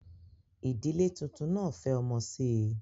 Ìdílé tuntun náà fẹ́ ọmọ sí i